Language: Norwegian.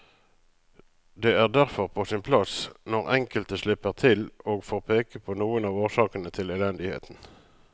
Det er derfor på sin plass når enkelte slipper til og får peke på noen av årsakene til elendigheten.